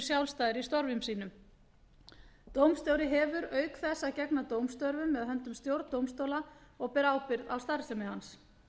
sjálfstæðir í störfum sínum dómstjóri hefur auk þess að gegna dómstörfum með höndum stjórn dómstóls og ber ábyrgð á starfsemi hans